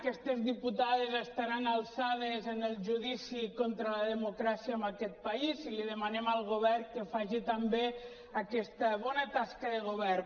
aquestes diputades estaran alçades en el judici contra la democràcia en aquest país i li demanem al govern que faci també aquesta bona tasca de govern